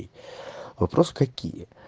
вопрос какие